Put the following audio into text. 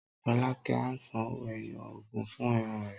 Rọ́lákẹ́ á san owó-ẹyọ ogún fún irun rẹ̀.